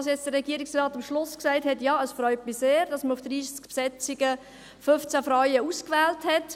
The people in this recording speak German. Was der Regierungsrat am Schluss gesagt hat, freut mich sehr, nämlich, dass man auf 30 Besetzungen 15 Frauen ausgewählt hat.